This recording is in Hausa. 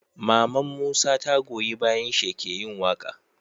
Maman musa ta goyi bayan shi yake yin waƙa